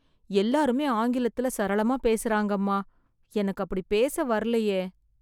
எல்லாருமே ஆங்கிலத்துல சரளமா பேசறாங்கம்மா... எனக்கு அப்டி பேச வரலயே...